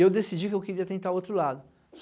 E eu decidi que eu queria tentar o outro lado.